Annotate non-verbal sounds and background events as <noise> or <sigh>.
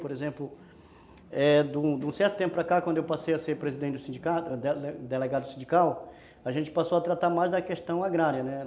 Por exemplo, é, de de um certo tempo para cá, quando eu passei a ser presidente do sindicato, <unintelligible> delegado do sindical, a gente passou a tratar mais da questão agrária, né?